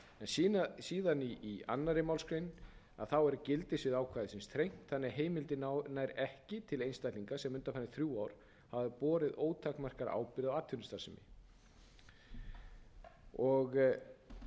sínar en í annarri málsgrein er gildissvið ákvæðisins þrengt þannig að heimildin nær ekki til einstaklinga sem undanfarin þrjú ár hafa borið ótakmarkaða ábyrgð á atvinnustarfsemi